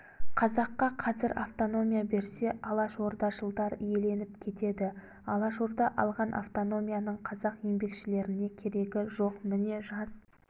қазаққа қазір автономия берсе алашордашылдар иеленіп кетеді алашорда алған автономияның қазақ еңбекшілеріне керегі жоқ міне жас